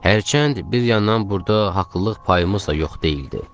Hərçənd bir yandan burda haqlılıq payımız da yox deyildi.